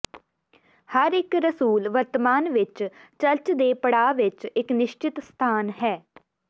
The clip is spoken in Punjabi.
ਹਰ ਇੱਕ ਰਸੂਲ ਵਰਤਮਾਨ ਵਿੱਚ ਚਰਚ ਦੇ ਪੜਾਅ ਵਿੱਚ ਇੱਕ ਨਿਸ਼ਚਿਤ ਸਥਾਨ ਹੈ